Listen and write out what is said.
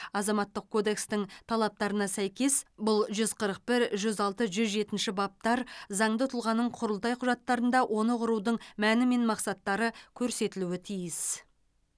азаматтық кодекстің талаптарына сәйкес бұл жүз қырық бір жүз алты жүз жетінші баптар заңды тұлғаның құрылтай құжаттарында оны құрудың мәні мен мақсаттары көрсетілуі тиіс